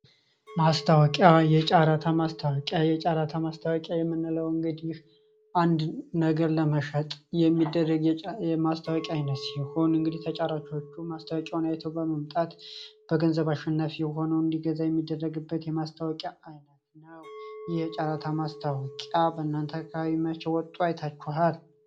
ማስታዋቂያ የጫራታ ማስታዋቂያ የምንለው እግዲህ አንድ ነገር ለመሸጥ የሚደረግ የጫራታ ማስታዋቂያ አይነት ሲሆን ተጫራቾችም ማስታዋቂያውን አይቶ በመምጣት በገንዘብ አሸናፊ የሆነው እንዲገዛ የሚደረግበት የማስታዌቀቂያ አይነት ነው የጫራታ ማስታዋቂያ በናንተ አካባባ ወጠው አይቴችኋል?